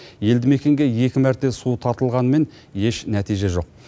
елді мекенге екі мәрте су тартылғанмен еш нәтиже жоқ